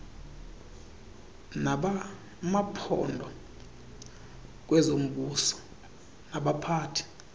nabamaphondo kwezombuso nabaphathi